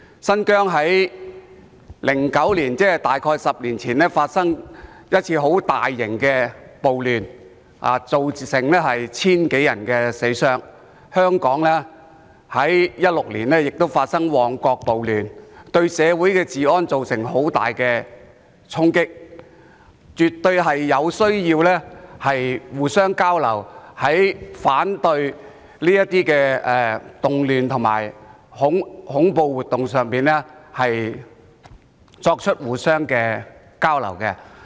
新疆曾在2009年，即大約10年前發生一次大型暴亂，造成千多人傷亡，而香港亦在2016年發生旺角暴亂，對社會治安造成很大衝擊，所以絕對有需要在防範這些動亂和恐怖活動方面互相交流。